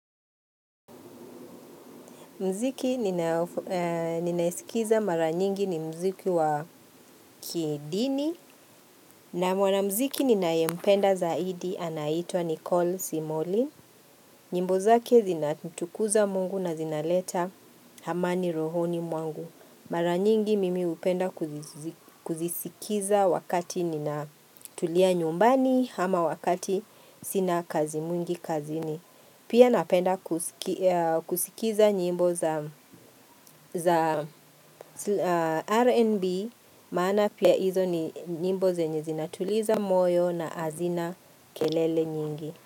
Mziki ninaisikiza mara nyingi ni mziki wa kidini na mwana mziki ninayempenda zaidi anaitwa Nicole Simoli. Nyimbo zake zinamtukuza mungu na zinaleta hamani rohoni mwangu. Mara nyingi mimi upenda kuzisikiza wakati nina tulia nyumbani ama wakati sina kazi mwingi kazi ni. Pia napenda kusikiza nyimbo za RNB, maana pia hizo ni nyimbo zenye zinatuliza moyo na azina kelele nyingi.